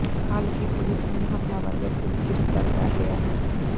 ਹਾਲਾਂਕਿ ਪੁਲਿਸ ਨੇ ਹਮਲਾਵਰ ਵਿਅਕਤੀ ਨੂੰ ਗ੍ਰਿਫਤਾਰ ਕਰ ਲਿਆ ਹੈ